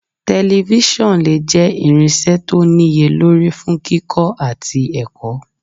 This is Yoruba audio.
“Tẹlifíṣọ̀n lè jẹ́ irinṣẹ́ tó níye lórí fún kíkọ́ àti ẹ̀kọ́. "